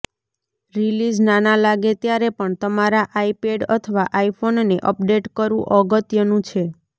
release નાના લાગે ત્યારે પણ તમારા આઈપેડ અથવા આઇફોનને અપડેટ કરવું અગત્યનું છે